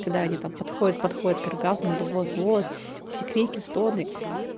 когда они там подходят подходят к оргазму или вот вот и все крики стоны